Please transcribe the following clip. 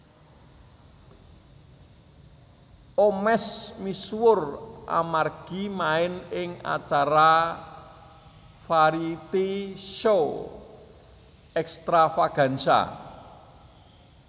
Omesh misuwur amargi main ing acara variety show Extravaganza